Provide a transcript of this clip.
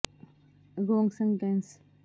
ਕੇਂਦਰ ਸਰਕਾਰ ਦੁਆਰਾ ਸ਼ੁਰੂ ਕੀਤੀ ਗਈ ਪ੍ਰਧਾਨ ਮੰਤਰੀ ਸ਼ਰਮ ਯੋਗੀ ਮਾਨਧੰਨ